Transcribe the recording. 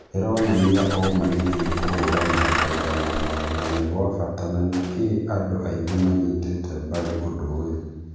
Ironania ũma nĩkĩ kũhũranĩra kũiganana nĩ gwabata na nĩkĩ andũ aingĩ manyitĩte mbaru ũndũ ũyũ